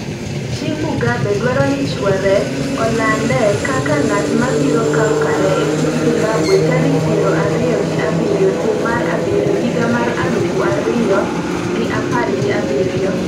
chi Mugabe dwaro ni chuore olande kaka ng'at mabiro kawo kare e piny Zimbabwe tarik piero ariyo gi abiriyo dwe mar abiriyo hiag mar aluf ariyo gi apar gi abiriyo